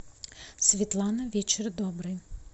светлана вечер добрый